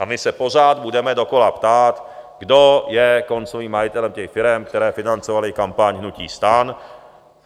A my se pořád budeme dokola ptát: Kdo je koncovým majitelem těch firem, které financovaly kampaň hnutí STAN?